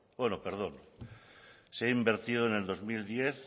bueno perdón se ha invertido en el dos mil diez